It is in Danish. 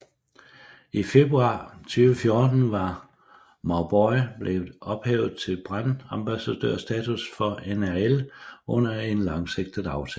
I februar 2014 var Mauboy blevet ophøjet til brandambassadørstatus for NRL under en langsigtet aftale